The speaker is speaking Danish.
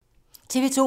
TV 2